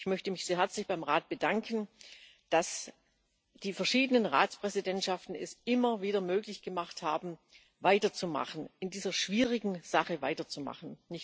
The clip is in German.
Ich möchte mich sehr herzlich beim Rat bedanken, dass die verschiedenen Ratspräsidentschaften es immer wieder möglich gemacht haben, in dieser schwierigen Sache weiterzumachen.